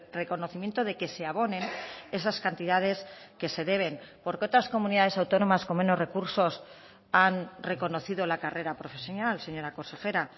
reconocimiento de que se abonen esas cantidades que se deben por qué otras comunidades autónomas con menos recursos han reconocido la carrera profesional señora consejera